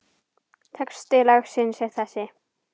Texti lagsins er þessi